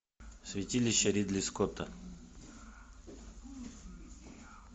святилище ридли скотта